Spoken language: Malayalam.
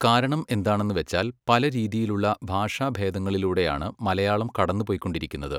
കാരണം എന്താണെന്ന് വെച്ചാൽ പല രീതിയിലുള്ള ഭാഷാഭേദങ്ങളിലൂടെയാണ് മലയാളം കടന്ന് പൊയ്‌ക്കൊണ്ടിരിക്കുന്നത്